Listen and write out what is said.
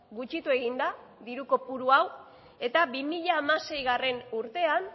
gutxitu egin da diru kopuru hau eta bi mila hamaseigarrena urtean